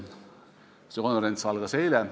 See konverents algas eile.